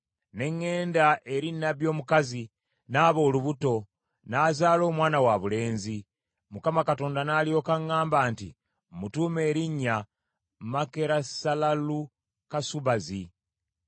Ne ŋŋenda eri nnabbi omukazi, n’aba olubuto, n’azaala omwana wabulenzi. Mukama Katonda n’alyoka agamba nti, “Mmutuume erinnya Makerusalalukasubazi.